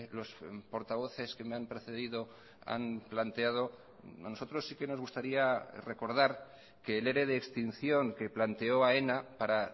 los portavoces que me han precedido han planteado a nosotros sí que nos gustaría recordar que el ere de extinción que planteó aena para